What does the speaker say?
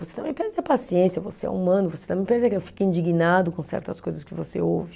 Você também perde a paciência, você é humano, você também perde, fica indignado com certas coisas que você ouve.